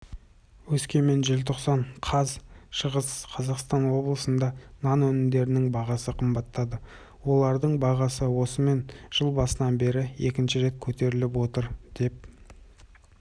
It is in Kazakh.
өскемен желтоқсан қаз шығыс қазақстан облысында нан өнімдерінің бағасы қымбаттады олардың бағасы осымен жыл басынан бері екінші рет көтеріліп отыр деп